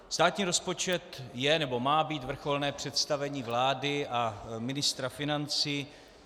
Státní rozpočet je nebo má být vrcholné představení vlády a ministra financí.